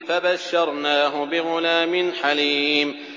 فَبَشَّرْنَاهُ بِغُلَامٍ حَلِيمٍ